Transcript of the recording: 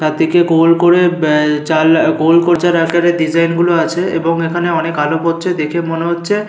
চারদিকে গোল করে ব্যা জাল গোল আকারে ডিসাইন গুলো আছে এবং এখানে অনেক আলো পড়ছে। দেখে মনে হচ্ছে--